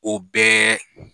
O bɛɛ